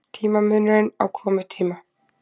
Tímamunurinn á komutíma